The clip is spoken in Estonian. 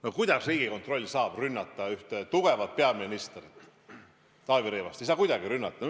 No kuidas Riigikontroll saab rünnata tugevat peaministrit Taavi Rõivast?